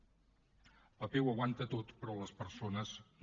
el paper ho aguanta tot però les persones no